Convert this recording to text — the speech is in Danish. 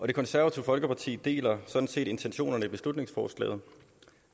det konservative folkeparti deler sådan set intentionerne i beslutningsforslaget